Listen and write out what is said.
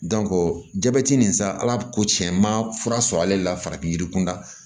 jabɛti nin sa ala ko tiɲɛ n ma fura sɔrɔ ale la farafin yirikunda